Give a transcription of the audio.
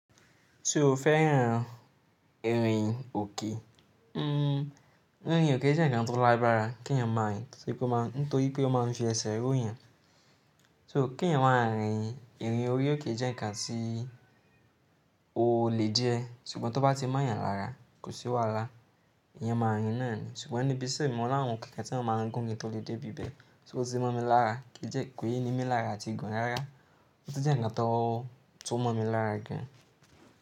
So fẹ́ yan irin òkè? Hmm, àrin òkè jẹ́ ǹkan tó lágbára kí ènìyàn mọ̀ ọ́n, torípé ó máa ń fi ẹsẹ̀ rẹ̀ ó yan. So kí ènìyàn máa rìn, irin òkè jẹ́ ǹkan tí o lè di ẹ ṣùgbọ́n tó bá ti mọ́ ènìyàn lára kò sí wàhálà. Èèyàn máa rìn náà ni ṣùgbọ́n ni'bí iṣe mi mo làwọn kẹ̀kẹ́ tí wọ́n máa ń gún ni tó lè dé bíbẹ̀. Otí mọ̀ mí lára kìi ni mí lára lati ti gùn rárá, ó ti jẹ́ ǹkan tó mọ̀ mí lára gùn.